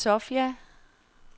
Sofia